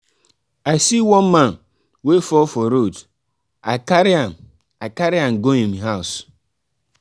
i see one man wey fall for road i carry am i carry am go im house.